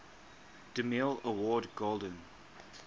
demille award golden